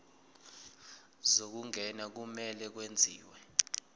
zokungena kumele kwenziwe